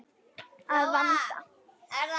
Að vanda.